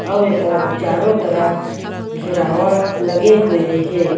अउ एकर चारो तरफ घेराव लगे हुए हे।